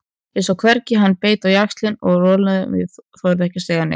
Ég sá hvernig hann beit á jaxlinn og rolan ég þorði ekkert að segja.